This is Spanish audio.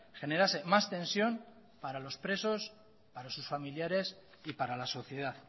generase más tensión para los presos para sus familiares y para la sociedad